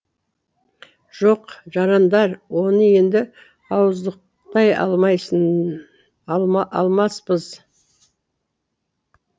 жоқ жарандар оны енді ауыздықтай алмаспыз